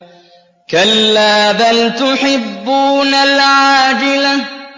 كَلَّا بَلْ تُحِبُّونَ الْعَاجِلَةَ